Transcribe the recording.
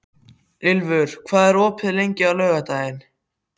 Ylfur, hvað er opið lengi á laugardaginn?